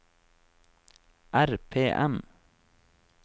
RPM